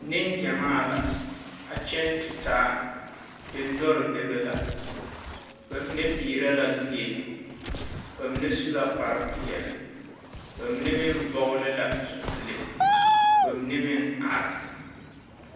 Neŋgyamaa la, a kyԑŋ tutaa, dendͻre bebe la, ba mine peerԑ la zie, ba su la kpare peԑle, ba mine meŋ vͻgele la zupile, ka ba mine meŋ are.